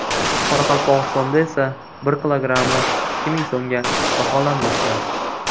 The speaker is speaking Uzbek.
Qoraqalpog‘istonda esa bir kilogrammi ikki ming so‘mga baholanmoqda.